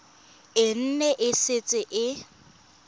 e ne e setse e